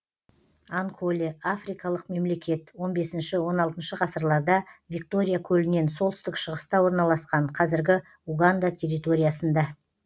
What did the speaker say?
анколе африкалық мемлекет он бесінші он алтыншы ғасырларда виктория көлінен солтүстік шығыста орналасқан қазіргі уганда территориясында